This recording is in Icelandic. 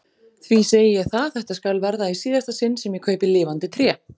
því segi ég það, þetta skal verða í síðasta sinn sem ég kaupi lifandi tré!